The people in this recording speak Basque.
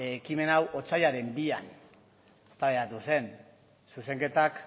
ekimen hau otsailaren bian eztabaidatu zen zuzenketak